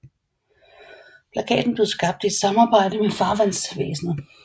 Plakaten blev skabt i et samarbejde med Farvandsvæsenet